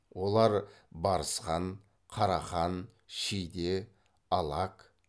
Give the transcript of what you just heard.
олар барысхан қарахан шиде алак